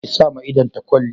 Ki sa ma idon ta kwalli